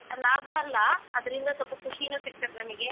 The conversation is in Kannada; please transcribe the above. ಲಾಭ ಅಲ್ಲ ಅದ್ರಿಂದ ಸೊಲ್ಪ ಖುಷಿನು ಸಿಕ್ತತ್ ನಮಿಗೆ.